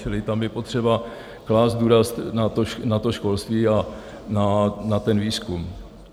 Čili tam je potřeba klást důraz na to školství a na ten výzkum.